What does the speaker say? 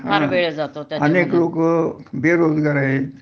अनेक लोक बेरोजगार आहेत